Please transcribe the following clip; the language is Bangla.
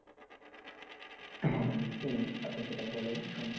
হ্যাঁ আমি চিনি আপনি সেটা বলেন আমি শুনি।